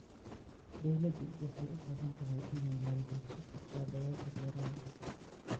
Dawladdu waxay u baahan tahay inay maalgeliso kaabayaasha beeraha.